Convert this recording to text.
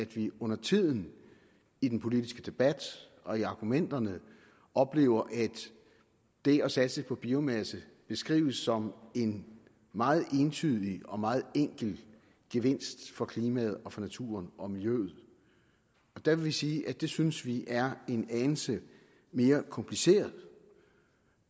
vi undertiden i den politiske debat og i argumenterne oplever at det at satse på biomasse beskrives som en meget entydig og meget enkel gevinst for klimaet og for naturen og miljøet der vil vi sige at det synes vi er en anelse mere kompliceret